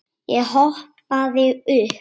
Ég hoppaði upp.